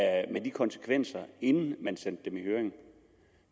konsekvenserne inden man sendte dem i høring